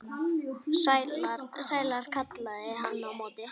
Sælar, kallaði hann á móti.